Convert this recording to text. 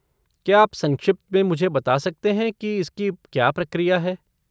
क्या आप संक्षिप्त में मुझे बता सकते हैं कि इसकी क्या प्रक्रिया है?